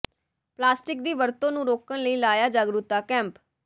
plastic ਦੀ ਵਰਤੋਂ ਨੂੰ ਰੋਕਣ ਲਈ ਲਾਇਆ ਜਾਗਰੂਕਤਾ ਕੈਂਪ